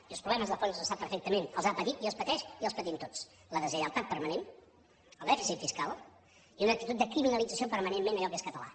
i els problemes de fons els sap perfectament els ha patit i els pateix i els patim tots la deslleialtat permanent el dèficit fiscal i una actitud de criminalització permanentment a allò que és català